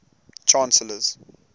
chancellors